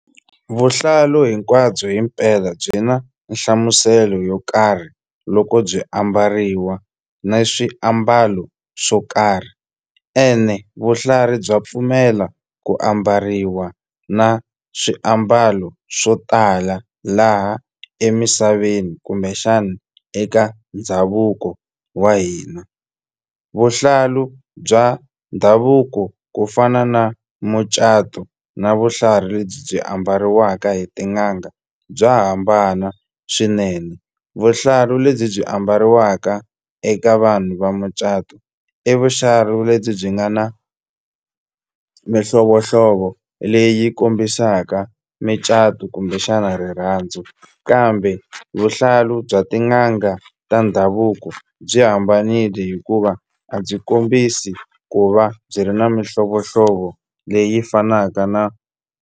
Vuhlalu hinkwabyo himpela byi na nhlamuselo yo karhi loko byi ambariwa na swiambalo swo karhi ene vuhlari bya pfumela ku ambariwa na swiambalo swo tala laha emisaveni kumbexana eka ndhavuko wa hina vuhlalu bya ndhavuko ku fana na mucato na vuhlalu lebyi byi ambariwaka hi tin'anga bya hambana swinene vuhlalu lebyi byi ambariwaka eka vanhu va mucato i lebyi byi nga na mihlovohlovo leyi kombisaka micato kumbexana rirhandzu kambe vuhlalu bya tin'anga ta ndhavuko byi hambanile hikuva a byi kombisi ku va byi ri na mihlovohlovo leyi fanaka na.